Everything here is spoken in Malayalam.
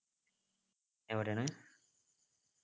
എവിടെയാണ്